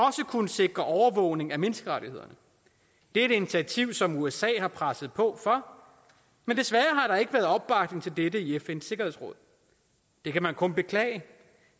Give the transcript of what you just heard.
kunne sikre overvågning af menneskerettighederne det er et initiativ som usa har presset på for men desværre har der ikke været opbakning til dette i fns sikkerhedsråd det kan man kun beklage